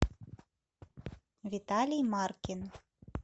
виталий маркин